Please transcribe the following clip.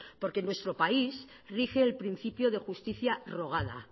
porque nuestro país rige el principio de justicia rogada